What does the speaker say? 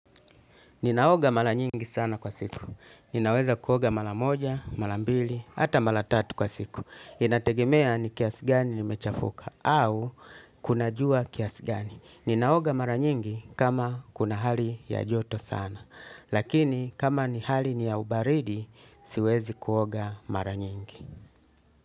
Ninaoga mara nyingi sana kwa siku. Ninaweza kuoga mara moja, mara mbili, hata mara tatu kwa siku. Inategemea ni kiasi gani nimechafuka au kuna jua kiasi gani. Ninaoga mara nyingi kama kuna hali ya joto sana. Lakini kama ni hali ni ya ubaridi, siwezi kuoga mara nyingi.